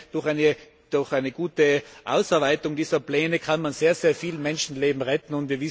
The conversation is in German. Durch eine gute Ausarbeitung dieser Pläne kann man sehr viele Menschenleben retten.